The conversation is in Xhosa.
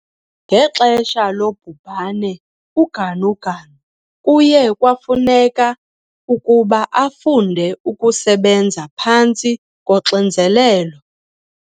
Ngexesha lobhubhane uGanuganu kuye kwafuneka ukuba afunde ukusebenza phantsi koxinzelelo.